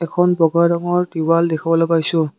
এখন বগা ৰঙৰ তিৱাল দেখিবলৈ পাইছোঁ।